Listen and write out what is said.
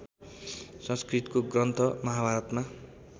संस्कृतको ग्रन्थ महाभारतमा